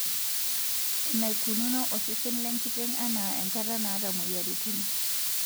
Enaikununo osesen lenkiteng' enaa enkata naata moyiaritin.